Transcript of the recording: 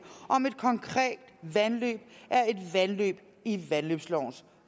om et konkret vandløb er et vandløb i vandløbslovens